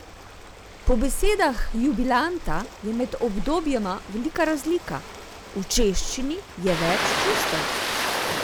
Po besedah jubilanta je med obdobjema velika razlika: "V češčini je več čustev.